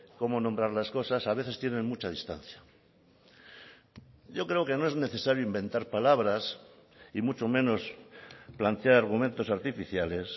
cómo nombrar las cosas a veces tienen mucha distancia yo creo que no es necesario inventar palabras y mucho menos plantear argumentos artificiales